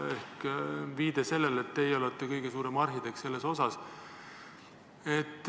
See oli viide sellele, et teie olete kõige suurem arhitekt selles osas.